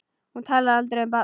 Hún talar aldrei um barnið.